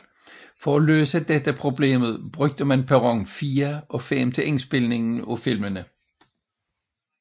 For at løse dette problem brugte man perron 4 og 5 til indspilningen af filmene